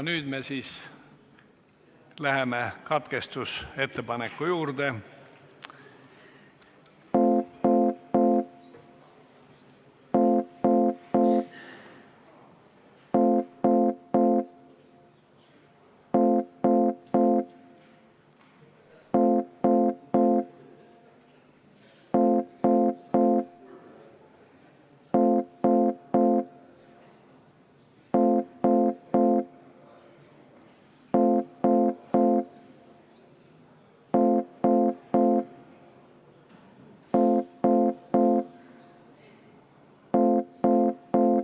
Nii et muudatusettepanek jääb kõrvale.